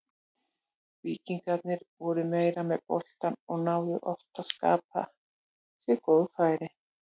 Víkingarnir voru meira með boltann og náðu oft að skapa sér góð færi.